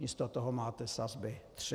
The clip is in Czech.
Místo toho máte sazby tři.